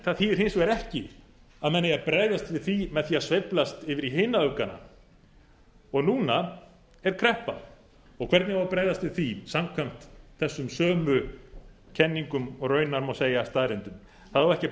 það þýðir hins vegar ekki að menn eigi að bregðast við því með því að sveiflast yfir í hinar öfgarnar og núna er kreppa og hvernig á að bregðast við því samkvæmt þessum sömu kenningum og raunar má segja staðreyndum það á ekki að